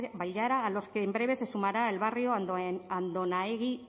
bailara a los que en breve se sumará el barrio andonaegi de